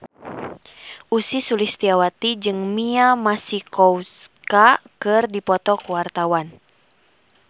Ussy Sulistyawati jeung Mia Masikowska keur dipoto ku wartawan